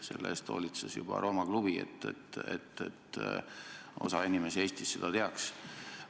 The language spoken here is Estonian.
Selle eest hoolitses juba Rooma Klubi, et osa inimesi Eestis seda teaks.